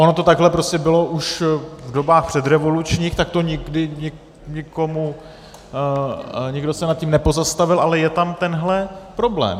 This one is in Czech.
Ono to takhle prostě bylo už v dobách předrevolučních, tak to nikdy nikomu - nikdo se nad tím nepozastavil, ale je tam tenhle problém.